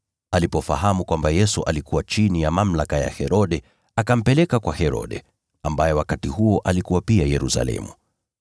Alipofahamu kwamba Yesu alikuwa chini ya mamlaka ya Herode, akampeleka kwa Herode, ambaye wakati huo alikuwa pia Yerusalemu.